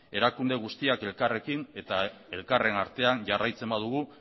erakunde guztiak elkarrekin eta elkarren artean jarraitzen badugu